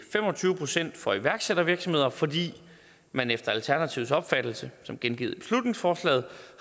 fem og tyve procent for iværksættervirksomheder fordi man efter alternativets opfattelse som gengivet i beslutningsforslaget